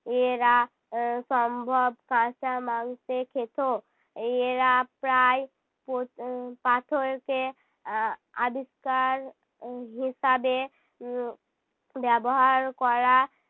এরা এর সম্ভব কাঁচা মাংসে খেত। এরা প্রায় পথ~ আহ পাথরকে আহ আবিষ্কার আহ হিসাবে উহ ব্যবহার করা